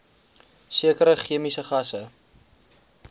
sekere chemiese gasse